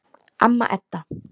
Amma Edda.